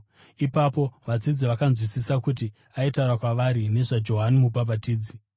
Ipapo vadzidzi vakanzwisisa kuti aitaura kwavari nezvaJohani Mubhabhatidzi.